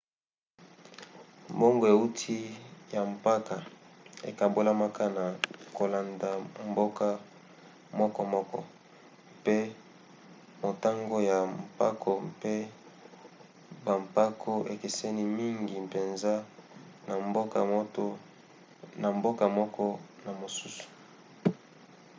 mbongo euti ya mpako ekabolamaka na kolanda mboka mokomoko mpe motango ya mpako mpe bampako ekeseni mingi mpenza na mboka moko na mosusu